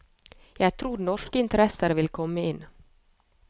Jeg tror norske interesser vil komme inn.